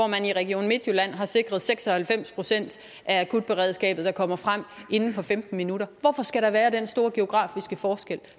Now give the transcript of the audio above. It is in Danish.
man i region midtjylland har sikret seks og halvfems procent af akutberedskabet der kommer frem inden for femten minutter hvorfor skal der være den store geografiske forskel